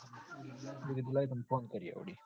મુ કીધું લાય તન phone કરીએ વળી